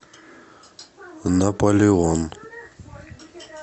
наполеон